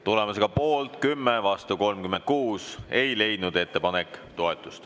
Tulemusega poolt 10, vastu 36, ei leidnud ettepanek toetust.